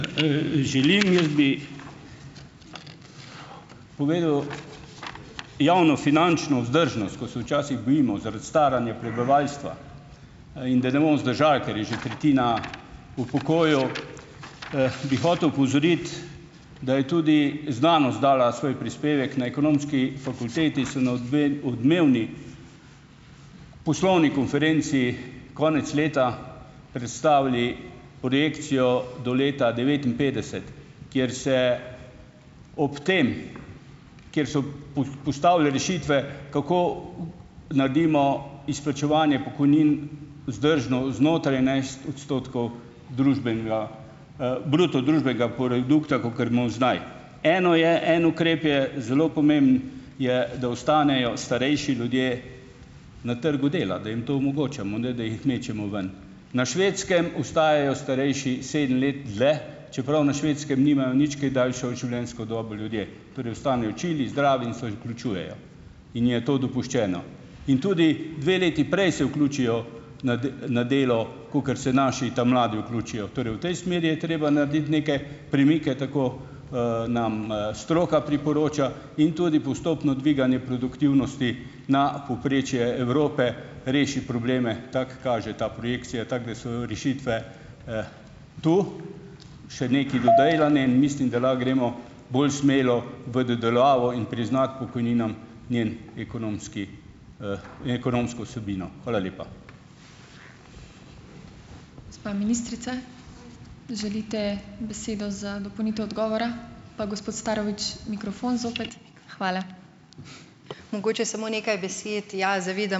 Želim. Jaz bi povedal, javnofinančno vzdržnost, ko se včasih bojimo zaradi staranja prebivalstva, in da ne bomo zdržali, kar je že tretjina v pokoju, bi hotel opozoriti, da je tudi znanost dala svoj prispevek. Na ekonomski fakulteti so na odmevni poslovni konferenci konec leta predstavili projekcijo do leta devetinpetdeset, kjer se ob tem, kjer so postavili rešitve, kako naredimo izplačevanje pokojnin vzdržno znotraj enajst odstotkov družbenega, bruto družbenega produkta, kakor imam zdaj. Eno je, en ukrep je zelo pomemben je, da ostanejo starejši ljudje na trgu dela, da jim to omogočamo, ne da jih mečemo ven. Na Švedskem ostajajo starejši sedem let dlje, čeprav na Švedskem nimajo nič kaj daljšo življenjsko dobo ljudje, torej ostanejo čili, zdravi in se vključujejo, in je to dopuščeno. In tudi dve leti prej se vključijo na na delo, kakor se naši ta mladi vključijo. Torej v tej smeri je treba narediti neke premike, tako, nam, stroka priporoča in tudi postopno dviganje produktivnosti na povprečje Evrope reši probleme, tako kaže ta projekcija, tako da so rešitve, tu še nekaj dodelane, in mislim, da lahko gremo bolj smelo v dodelavo in priznati pokojninam njen ekonomski, ekonomsko vsebino. Hvala lepa.